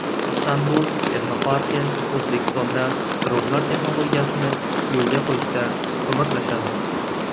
Istanbul texnoparki O‘zbekistonda dronlar texnologiyasini yo‘lga qo‘yishda ko‘maklashadi.